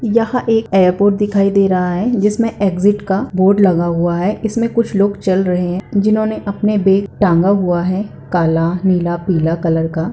यह एक एयरपोर्ट दिखाई दे रहा है जिसमे एग्जिट का बोर्ड लगा हुआ है इस मे कुछ लोग चल रहे है जिसने अपने बैग टंगा हुआ है काला नीला पीला कलर का।